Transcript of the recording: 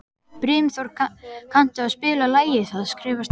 Brimþór, kanntu að spila lagið „Það skrifað stendur“?